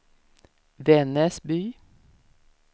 Vännäsby